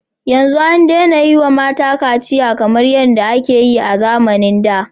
Yanzu an daina yi wa mata kaciya kamar yadda ake yi a zamanin da.